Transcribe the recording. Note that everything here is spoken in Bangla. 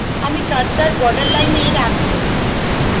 আমি cursor বর্ডার লাইনে রাখব